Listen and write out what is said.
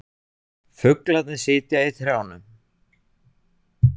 Fuglarnir sitja í trjánum.